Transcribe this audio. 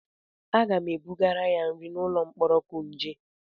Aga m ebugara ya nri n'ụlọ mkpọrọ Kuje.